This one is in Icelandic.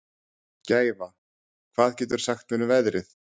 Gæfa, hvað geturðu sagt mér um veðrið?